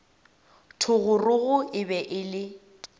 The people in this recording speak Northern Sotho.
thogorogo e be e le